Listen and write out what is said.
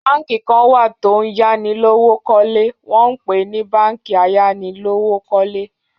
Báǹkì kàn wà tó ń yá ni lówó kọ́lé wọ́n ń pèé ni báǹkì ayánilówókọ́lé.